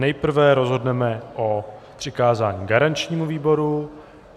Nejprve rozhodneme o přikázání garančnímu výboru.